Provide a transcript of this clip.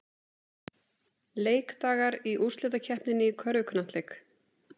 Leikdagar í úrslitakeppninni í körfuknattleik